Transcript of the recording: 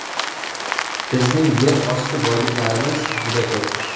Bizning yer osti boyliklarimiz juda ko‘p.